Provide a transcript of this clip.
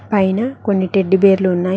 పైన కొన్ని టెడ్డిబేర్ లు ఉన్నాయి.